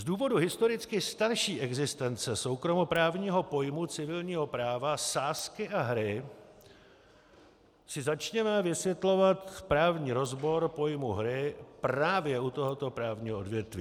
Z důvodu historicky starší existence soukromoprávního pojmu civilního práva sázky a hry si začněme vysvětlovat právní rozbor pojmu hry právě u tohoto právního odvětví.